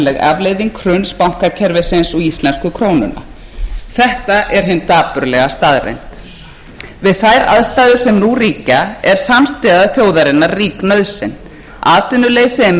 afleiðing hruns bankakerfisins og íslensku krónunnar þetta er hin dapurlega staðreynd við þær aðstæður sem nú ríkja er samstaða þjóðarinnar rík nauðsyn atvinnuleysi er meira en þjóðin hefur kynnst um